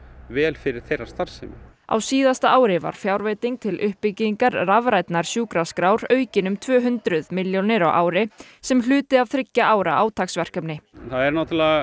vel fyrir þeirra starfsemi á síðasta ári var fjárveiting til uppbyggingar rafrænnar sjúkrarskrár aukin um tvö hundruð milljónir á ári sem hluti af þriggja ára átaksverkefni það er